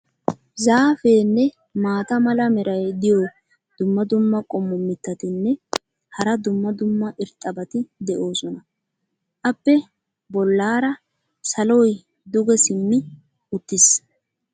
zaafeenne maata mala meray diyo dumma dumma qommo mitattinne hara dumma dumma irxxabati de'oosona. appe bolaara saloy duge simmi uttiis.